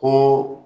Ko